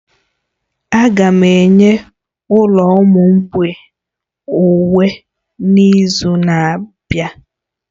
Aga m enye ụlọ ụmụ mgbei uwe n'izu na-abịa.